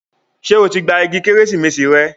Ṣé o ti gba igi Kérésìmesì rẹ?